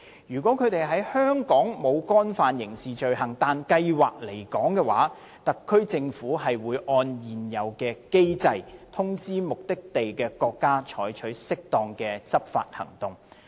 如果他們在香港沒有干犯刑事罪行但計劃離港，特區政府會按現有機制，通知目的地國家採取適當的執法行動。